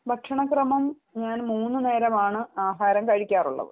ഭക്ഷണ ക്രമം ഞാൻ മൂന്ന് നേരമാണ് ആഹാരം കഴിക്കാറുള്ളത്